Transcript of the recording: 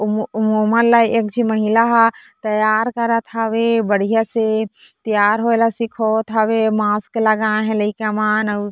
उम उम उमाला एक झी महिला हे तैयार करत हवे बढ़िया से तैयार होय ला सिखावत हवे मास्क लगाय हे लइका मन--